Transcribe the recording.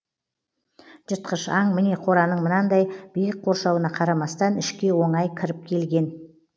жыртқыш аң міне қораның мынандай биік қоршауына қарамастан ішке оңай кіріп келген